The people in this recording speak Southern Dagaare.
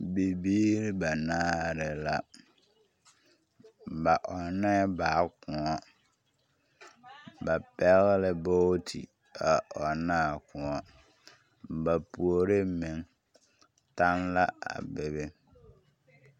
Bibiiri banaare la, ba ɔnnɛɛ baa kõɔ. Ba pɛgle la booti a ɔnn'a kõɔ. Ba puore meŋ taŋ la a be be.